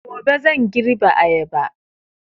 Gobe zan girbe ayaba